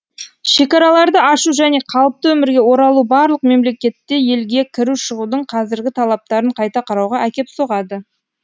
шекараларды ашу және қалыпты өмірге оралу барлық мемлекетте елге кіру шығудың қазіргі талаптарын қайта қарауға әкеп соғады